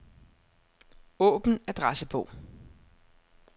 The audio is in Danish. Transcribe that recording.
Åbn adressebog.